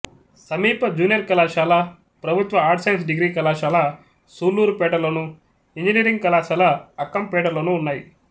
సమీప జూనియర్ కళాశాల ప్రభుత్వ ఆర్ట్స్ సైన్స్ డిగ్రీ కళాశాల సూళ్ళూరుపేటలోను ఇంజనీరింగ్ కళాశాల అక్కంపేటలోనూ ఉన్నాయి